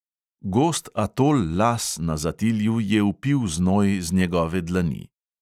Gost atol las na zatilju je vpil znoj z njegove dlani.